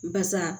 Basa